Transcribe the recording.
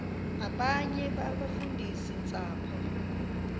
abanye abafundisi ntshapo